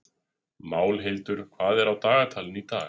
Málhildur, hvað er á dagatalinu í dag?